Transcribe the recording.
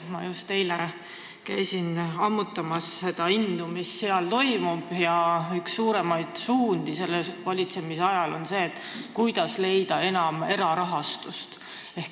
Ma käisin just eile ammutamas indu sellest, mis seal toimub, ja üks suuremaid suundi sellel alal on see, kuidas leida enam erarahastust.